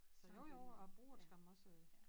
Så jo jo jeg bruger det skam også øh